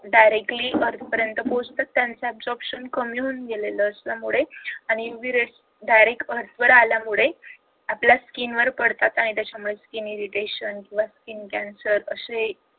directly earth पर्यंत पोहचतात त्यांचं obsection कमी होऊन गेलं आहे त्याच्यामुळे आणि UVrays direct earth अर्थ वर आल्यामुळे आपल्या skin वर पडतात आणि त्याच्यामुळे skin irritation किंवा skin cancer अशी